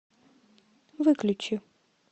выключи